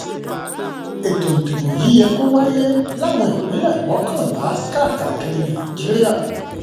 ètò ìdìbò yìí yẹ kó wáyé láwọn ìpínlẹ̀ mọ́kànlá káàkiri nàìjíríà